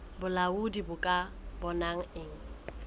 bolaodi bo ka bonang e